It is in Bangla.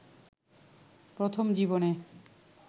প্রথম জীবনে